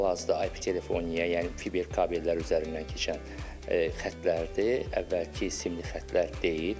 Hal-hazırda IP telefon, yəni fiber kabellər üzərindən keçən xətlərdir, əvvəlki simli xətlər deyil.